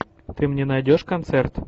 ты мне найдешь концерт